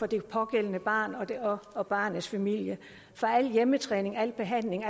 det pågældende barn og barnets familie for al hjemmetræning og al behandling